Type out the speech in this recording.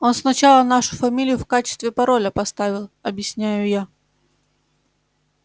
он сначала нашу фамилию в качестве пароля поставил объясняю я